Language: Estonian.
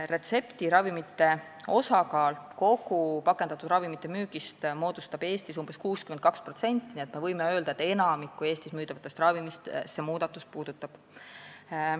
Retseptiravimite osakaal pakendatud ravimite müügis on Eestis umbes 62%, nii et me võime öelda, et see muudatus puudutab enamikku Eestis müüdavatest ravimitest.